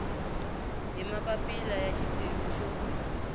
hi mapapila ya xiphemu xo